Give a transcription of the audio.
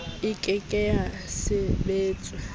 e ke ke ya sebetswa